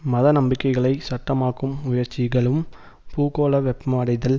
மத நம்பிக்கைகளை சட்டமாக்கும் முயற்சிகளும் பூகோள வெப்மடைதல்